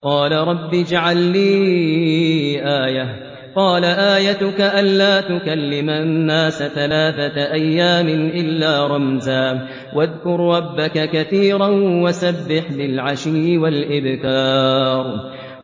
قَالَ رَبِّ اجْعَل لِّي آيَةً ۖ قَالَ آيَتُكَ أَلَّا تُكَلِّمَ النَّاسَ ثَلَاثَةَ أَيَّامٍ إِلَّا رَمْزًا ۗ وَاذْكُر رَّبَّكَ كَثِيرًا وَسَبِّحْ بِالْعَشِيِّ وَالْإِبْكَارِ